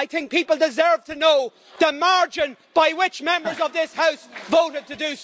I think people deserve to know the margin by which Members of this House voted on this matter.